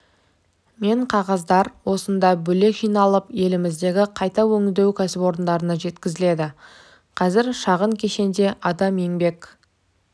мен қағаздар осында бөлек жиналып еліміздегі қайта өңдеу кәсіпорындарына жеткізіледі қазір шағын кешенде адам еңбек